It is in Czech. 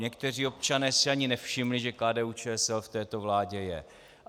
Někteří občané si ani nevšimli, že KDU-ČSL v této vládě je.